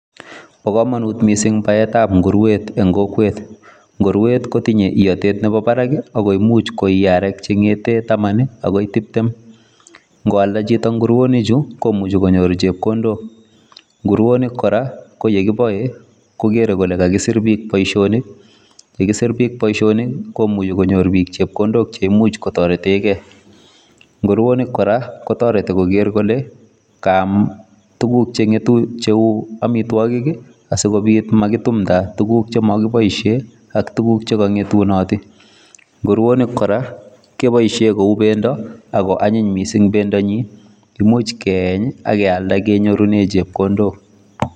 Pakamunut missing paeet ap nguruweet nguruwonik koraa komuchii konyor piik chepkondoooknchekikakipaisheen nguruoniik koraaaa komuch keeeny ak kenyor pendo netos kialda kenyor chepkondok